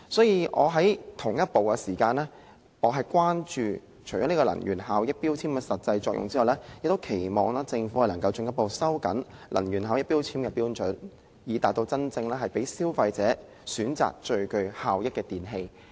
與此同時，我除了關注能源標籤的實際作用外，亦期望政府能進一步收緊能源標籤的標準，以致真正讓消費者選擇最具效益的電器。